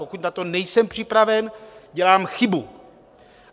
Pokud na to nejsem připraven, dělám chybu.